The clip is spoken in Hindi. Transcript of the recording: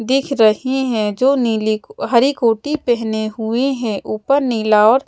दिख रहें हैं जो नीली हरी कोटी पेहने हुएं हैं ऊपर नीला और--